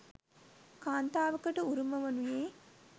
කාන්තාවකට උරුම වනුයේ